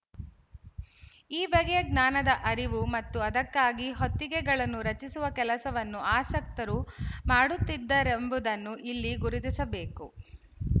ಈ ಬಗೆಯ ಜ್ಞಾನದ ಅರಿವು ಮತ್ತು ಅದಕ್ಕಾಗಿ ಹೊತ್ತಿಗೆಗಳನ್ನು ರಚಿಸುವ ಕೆಲಸವನ್ನು ಆಸಕ್ತರು ಮಾಡುತ್ತಿದ್ದರೆಂಬುದನ್ನು ಇಲ್ಲಿ ಗುರುತಿಸಬೇಕು